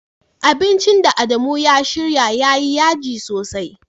Abincin da Adamu ya shirya yayi yaji sosai.